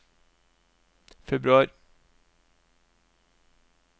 februar